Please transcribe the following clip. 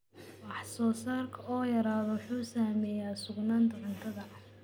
Wax soosaarka oo yaraada wuxuu saameeyaa sugnaanta cuntada.